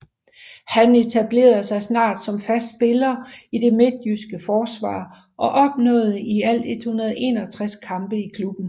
Han etablerede sig snart som fast spiller i det midtjyske forsvar og opnåede i alt 161 kampe i klubben